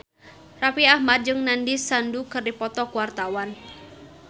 Raffi Ahmad jeung Nandish Sandhu keur dipoto ku wartawan